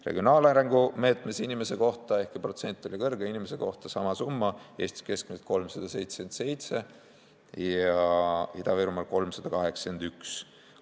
Regionaalarengu meetme raha inimese kohta: ehkki protsent oli kõrge, on inimese kohta sama summa, Eestis keskmiselt 377 ja Ida-Virumaal 381 eurot.